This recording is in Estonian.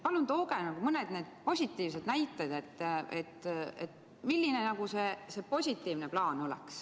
Palun tooge mõned positiivsed näited, milline see positiivne plaan oleks.